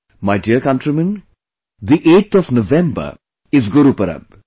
My dear countrymen, the 8th of November is Gurupurab